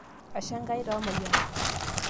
ashe Enkai toomayianat